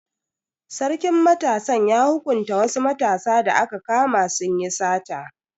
Sarkin matasan ya hukunta wasu matasa da aka kama sun yi sata.